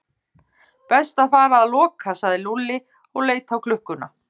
Best að fara að loka sagði Lúlli og leit á klukkuna.